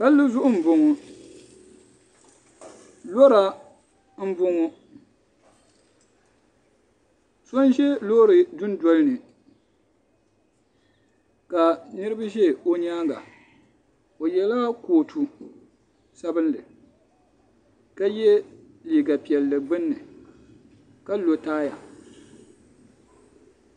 Palli zuɣu n bɔŋɔ lɔra n bɔŋɔ so n zɛ loori du noli ni ka niriba zɛ o yɛanga o yiɛla kootu sabinli ka yiɛ liiga piɛlli gbunni ka lo taya.